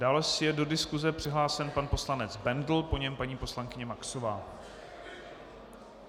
Dále je do diskuse přihlášen pan poslanec Bendl, po něm paní poslankyně Maxová.